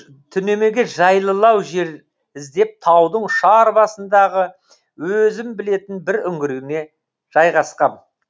түнемеге жайлылау жер іздеп таудың ұшар басындағы өзім білетін бір үңгіріме жайғасқам